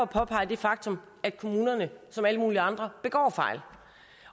påpege det faktum at kommunerne som alle mulige andre begår fejl